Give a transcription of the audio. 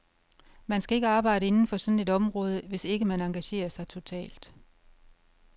Man skal ikke arbejde inden for sådan et område, hvis ikke man engagerer sig totalt.